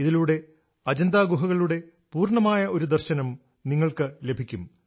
ഇതിലൂടെ അജന്ത ഗുഹകളുടെ പൂർണ്ണമായ ഒരു ദർശനം നിങ്ങൾക്ക് ലഭിക്കും